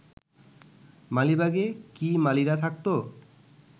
মালিবাগে কি মালীরা থাকত?